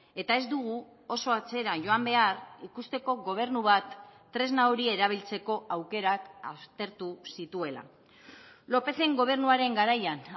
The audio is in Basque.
eta ez dugu oso atzera joan behar ikusteko gobernu bat tresna hori erabiltzeko aukerak aztertu zituela lópezen gobernuaren garaian